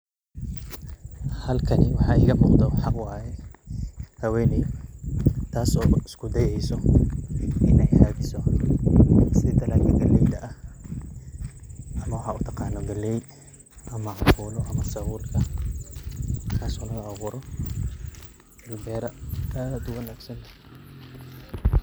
Halkani waxaa igamuqho waxaa way haweney tas oo iskudayeso in ay hadiso si daladi galeyda ah ama waxaa utaqano galey ama cambulo ama sabulka, tas oo laga aburo bera ad uwanagsan.